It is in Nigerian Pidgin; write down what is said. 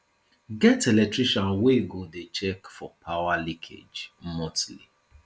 get electrician wey go dey check for power leakage monthly